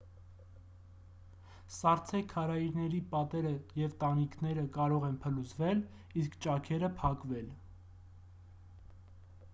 սառցե քարայրների պատերը և տանիքները կարող են փլուզվել իսկ ճաքերը փակվել